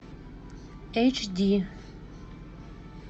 эйч ди